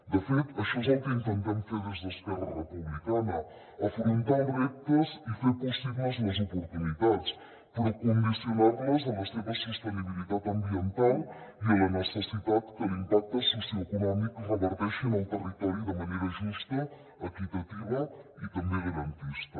de fet això és el que intentem fer des d’esquerra republicana afrontar els reptes i fer possibles les oportunitats però condicionar les a la seva sostenibilitat ambiental i a la necessitat que l’impacte socioeconòmic reverteixi en el territori de manera justa equitativa i també garantista